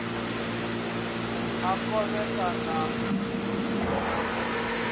a khovhekano hu si na